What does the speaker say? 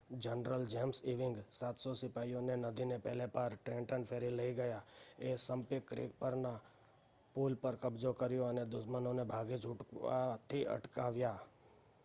general James Ewing 700 સિપાઇઓને નદીને પેલે પાર ટ્રેન્ટન ફેરી લઈ ગયા એસંપિંક ક્રીક પરના પુલ પર કબ્જો કર્યો અને દુશ્મનોને ભાગી છૂટવાથી અટકાવ્યા